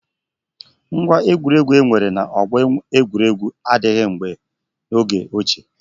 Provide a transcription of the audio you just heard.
Ngwá egwuregwu enwere na ọgbọ egwuregwu adịghị n'oge ochie.